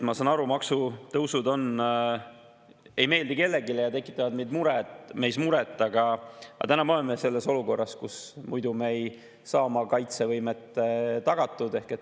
Ma saan aru, et maksutõusud ei meeldi kellelegi ja tekitavad meis muret, aga täna me oleme sellises olukorras, kus muidu me ei saa oma kaitsevõimet tagatud.